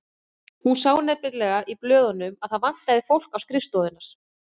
Hún sá nefnilega í blöðunum að það vantaði fólk á skrifstofurnar.